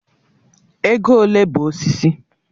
Ego ole bụ osisi?